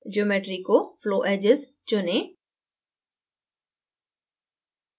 geometry को flowedges चुनें